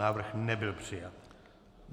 Návrh nebyl přijat.